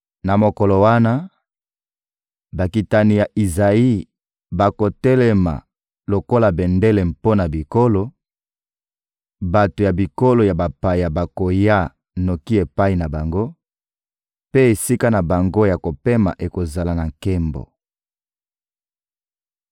Na mokolo wana, bakitani ya Izayi bakotelema lokola bendele mpo na bikolo, bato ya bikolo ya bapaya bakoya noki epai na bango; mpe esika na bango ya kopema ekozala na nkembo.